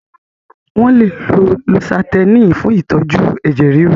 Wọ́n lè lo lósátẹ́ẹ̀nì fún ìtọ́jú ẹ̀jẹ̀ ríru.